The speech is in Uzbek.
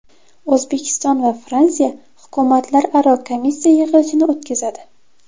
O‘zbekiston va Fransiya hukumatlararo komissiya yig‘ilishini o‘tkazadi.